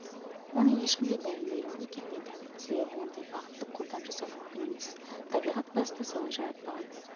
оны ешкімге дәлелдегім де келмейді себебі ондай бақытты қолдан жасау мүмкін емес табиғат баста солай жаратпаған